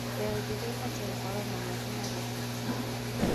Mbeũ njĩthĩ ĩbatiĩ gũkorwo na mweke harĩ ũteti.